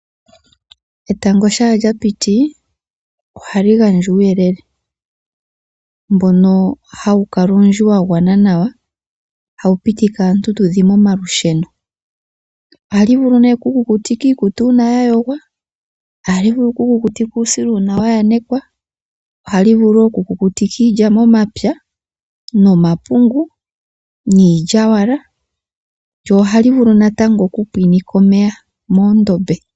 Etango ngele lyapiti, oha li gandja uuyelele, mboka ha wu kala owundji wgawana nawa, oha wu pitike aantu tudhime omalusheno. Oha li vulu oku kukutika iikutu uuna yayogwa, uusila uuna wa yanekwa, oha li vulu wo oku kukutika iilya momapya nomapungu, niilya yowala, lyo oha li vulu oku pwinitha omeya moondombe.